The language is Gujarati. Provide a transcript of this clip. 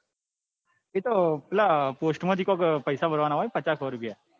એતો પેલા post માં પચાસ કે સો રૂપિયા કે એવા.